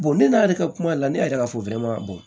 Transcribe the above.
ne n'a yɛrɛ ka kuma la ne yɛrɛ ka fo